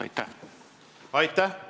Aitäh!